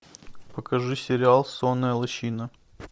покажи сериал сонная лощина